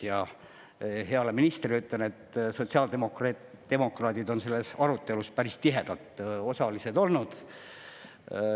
Ja heale ministrile ütlen, et sotsiaaldemokraadid on selles arutelus päris tihedalt osalised olnud.